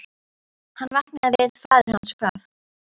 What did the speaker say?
Hann vaknaði við að faðir hans kvað